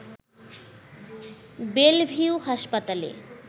Belle Vue হাসপাতালে